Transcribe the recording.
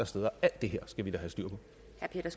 steder alt det her skal vi da have styr